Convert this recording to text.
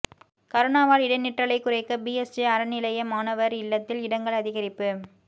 கரோனாவால் இடைநிற்றலைக் குறைக்க பிஎஸ்ஜி அறநிலைய மாணவா் இல்லத்தில் இடங்கள் அதிகரிப்பு